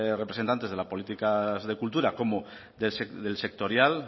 representantes de las políticas de cultura como del sectorial